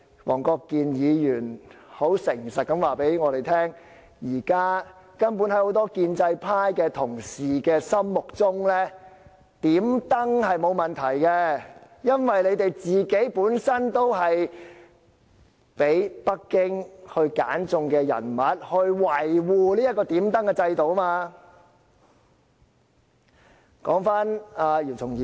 黃國健議員很誠實地告訴我們，在很多建制派同事的心目中，"點燈"是沒有問題的，因為他們本身就是被北京揀選出來維護這個"點燈"制度的人物。